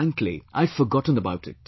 Frankly, I had forgotten about it